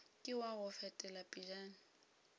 ke wa go fetela pejana